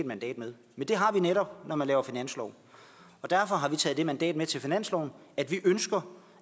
mandat med men det har vi netop når man laver finanslov og derfor har vi taget det mandat med til finansloven at vi ønsker